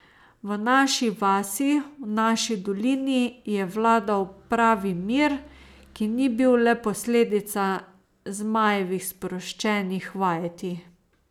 V naši vasi, v naši dolini je vladal pravi mir, ki ni bil le posledica Zmajevih sproščenih vajeti.